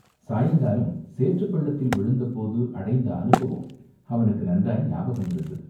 சாயங்காலம் சேற்றுப் பள்ளத்தில் விழுந்த போது அடைந்த அனுபவம் அவனுக்கு நன்றாய் ஞாபகம் இருந்தது.